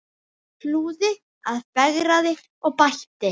Hlúði að, fegraði og bætti.